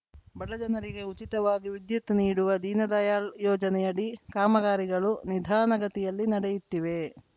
ಬಡಜನರಿಗೆ ಉಚಿತವಾಗಿ ವಿದ್ಯುತ್‌ ನೀಡುವ ದೀನ ದಯಾಳ್‌ ಯೋಜನೆಯಡಿ ಕಾಮಗಾರಿಗಳು ನಿಧಾನಗತಿಯಲ್ಲಿ ನಡೆಯುತ್ತಿದೆ